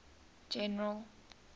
general